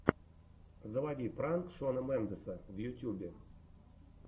заводи пранк шона мендеса в ютьюбе